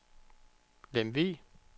Lemvig